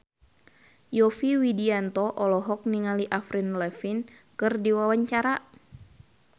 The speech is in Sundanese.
Yovie Widianto olohok ningali Avril Lavigne keur diwawancara